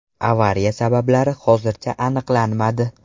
Avariya sabablari hozircha aniqlanmadi.